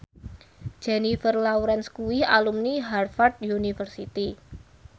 Jennifer Lawrence kuwi alumni Harvard university